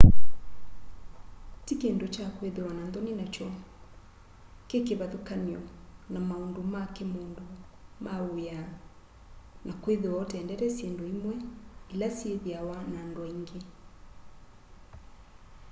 ti kindu kya kwithiwa na nthoni nakyo kii kivathukany'o na maundu ma kimundu ma w'ia na kwithiwa utendeta syindu imwe ila syithiawa na andu aingi